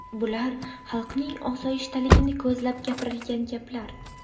Bular – xalqning osoyishtaligini ko‘zlab gapirilgan gaplar.